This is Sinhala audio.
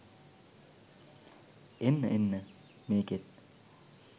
එන්න එන්න මේකෙත්